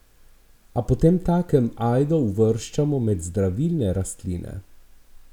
Ali potemtakem ajdo uvrščamo med zdravilne rastline?